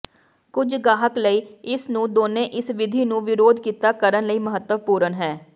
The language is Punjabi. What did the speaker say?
ਕੁਝ ਗਾਹਕ ਲਈ ਇਸ ਨੂੰ ਦੋਨੋ ਇਸ ਵਿਧੀ ਨੂੰ ਵਿਰੋਧ ਕੀਤਾ ਕਰਨ ਲਈ ਮਹੱਤਵਪੂਰਨ ਹੈ